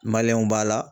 b'a la